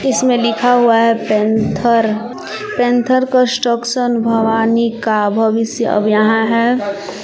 इसमें लिखा हुआ है पैंथर पैंथर कंस्ट्रक्शन भवानी का भविष्य अब यहां है।